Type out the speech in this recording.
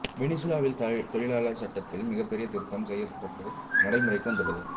வெனிசுவேலாவில் தொழிலாளர் சட்டத்தில் மிகப்பெரிய திருத்தம் செய்யப்பட்டு நடைமுறைக்கு வந்துள்ளது